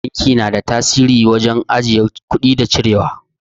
Banki na da tsari wajen ajiye kuɗi da cirewa.